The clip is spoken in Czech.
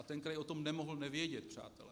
A ten kraj o tom nemohl nevědět, přátelé.